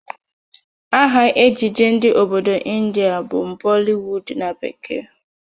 Aha ejije ndị obodo Ịndia bụ Bollywood na bekee